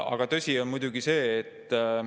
Aga tõsi on muidugi see …